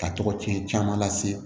Ka tɔgɔcɛn caman lase